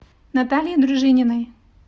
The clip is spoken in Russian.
натальей дружининой